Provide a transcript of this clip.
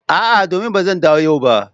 A'a domin ba zan dawo a yau ba.